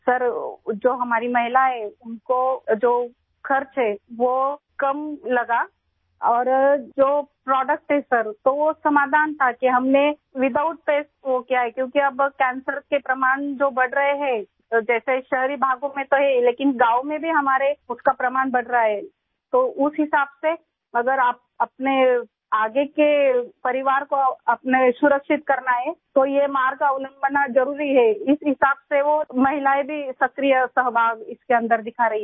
sir जो हमारी महिलाएं हैं उनको जो खर्च है वो कम लगा और जो प्रोडक्ट हैं सर तो वो समाधान पाकर हमने विथआउट पेस्ट वो किया क्योंकि अब कैंसर के प्रमाण जो बढ़ रहे हैं जैसे शहरी भागों में तो है ही लेकिन गाँव में भी हमारी उसका प्रमाण बढ़ रहा है तो उस हिसाब से अगर आप अपने आगे के परिवार को अपने सुरक्षित करना है तो ये मार्ग अपनाना जरूरी है इस हिसाब से वो महिलाएं भी सक्रिय सहभाग इसके अन्दर दिखा रही हैं